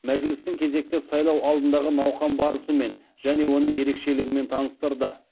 мәжілістің кезекті сайлау алдындағы науқан барысымен және оның ерекшелігімен таныстырды